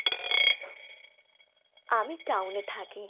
আমি town এ থাকি।